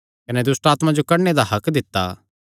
कने दुष्टआत्मां जो कड्डणे दा हक्क दित्ता